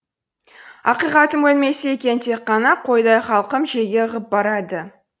ақиқатым өлмесе екен тек қана қойдай халқым желге ығып барады